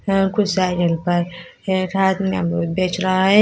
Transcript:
कुछ साइकिल पर एक आदमी अमरूद बेच रहा है।